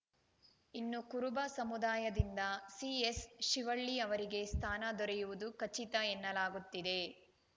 ಇನ್ನು ಕುರುಬ ಸಮುದಾಯದಿಂದ ಸಿಎಸ್‌ಶಿವಳ್ಳಿ ಅವರಿಗೆ ಸ್ಥಾನ ದೊರೆಯುವುದು ಖಚಿತ ಎನ್ನಲಾಗುತ್ತಿದೆ